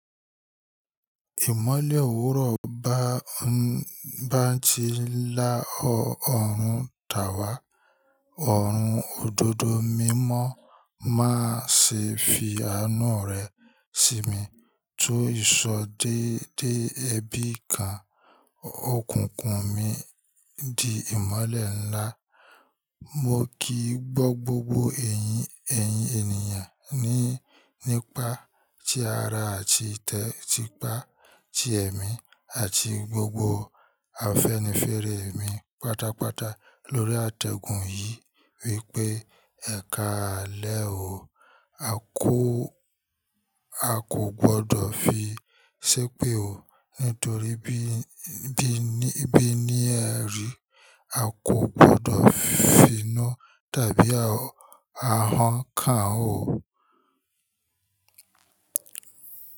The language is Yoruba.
Ìmọ́lẹ̀ òwúrọ̀ bá ń bá ti ń lá ọ̀run dàwà, ọ̀run òdodo mímọ́ máa ṣe fi ànu rẹ̀ sí mi. Tó ìsọ dédé ẹbí kan, òkùnkùn mi di ìmolẹ̀ ńlá. Mo kì í gbọ́ gbogbo ẹ̀yìn ẹ̀yìn ènìyàn ní nípa ti ara àti tìpá ti ẹ̀mí àti gbogbo afẹ́nifẹ́rẹ èmi pátápátá lórí àtẹ̀gùn yìí wípé, "Ẹ̀ka àlè o, a kò a kò gbọdọ̀ fi ṣépè o, nítorí bí bí bí ní ẹ rí, a kò gbọdọ̀ finá tàbí ahàn kan o.